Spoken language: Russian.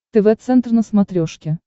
тв центр на смотрешке